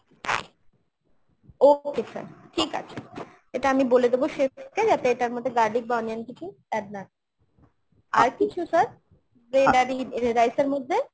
okay sir ঠিক আছে। এটা আমি বলে দেবো chef কে যাতে এটার মধ্যে garlic বা onion কিছু add না করে। আর কিছু sir bread আর রি~ rice এর মধ্যে ?